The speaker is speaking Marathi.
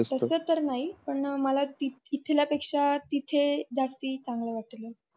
तस तर नाही पण मला इथल्यापेक्ष्या तिथे जास्ती चांगल वाटले.